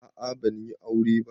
A'a ban yi aure ko ba.